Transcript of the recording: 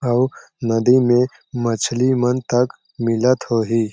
अउ नदी में मछली मन तक मिलत होही।